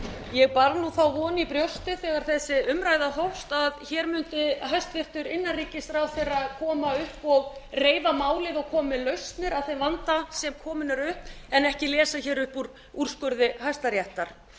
ég bar þá von í brjósti þegar þessi umræða hófst að hér mundi hæstvirtur innanríkisráðherra koma upp og reifa málið og koma með lausnir á þeim vanda sem kominn er upp en ekki lesa upp úr úrskurði hæstaréttar